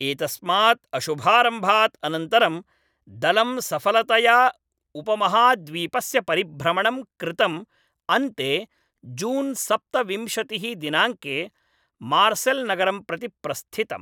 एतस्मात् अशुभारम्भात् अनन्तरं, दलं सफलतया उपमहाद्वीपस्य परिभ्रमणं कृतं अन्ते जून् सप्तविंशतिः दिनाङ्के मार्सेल्नगरं प्रति प्रस्थितम्।